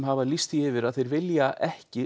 hafa lýst því yfir að þau vilji ekki